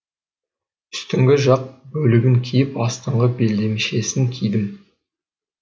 үстіңгі жақ бөлігін киіп астыңғы белдемшесін кидім